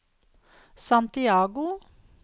Santiago